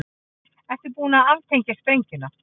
Ert þú búin að aftengja sprengjuna?